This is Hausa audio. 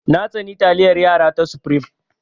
Na tsani taliyar yara ta supreme.